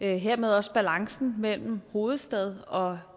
hermed også balancen mellem hovedstad og